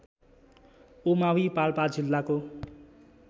उमावि पाल्पा जिल्लाको